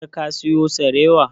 Har ka siyo sarewa?